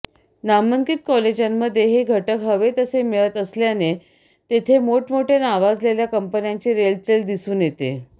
नामांकित कॉलेजांमध्ये हे घटक हवे तसे मिळत असल्याने तिथे मोठमोठय़ा नावाजलेल्या कंपन्यांची रेलचेल दिसून येते